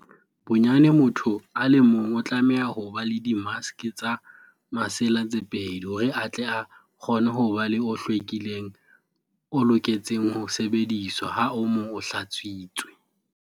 Bonyane motho a le mong o tlameha ho ba le dimaske tsa masela tse pedi hore a tle a kgone ho ba le o hlwekileng o loketseng ho sebediswa ha o mong o hlatswitswe.